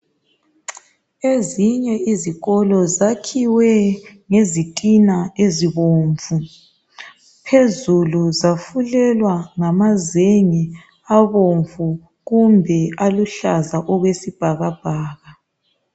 Ezinye izikolo zakhiwe ngezitina ezibomvu. Phezulu zafulelwa ngamazenge abomvu kumbe aluhlaza okwesibhakabhaka.